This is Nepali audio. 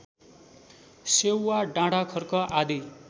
सेउवा डाँडाखर्क आदि